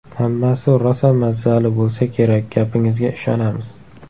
Hammasi rosa mazzali bo‘lsa kerak, gapingizga ishonamiz!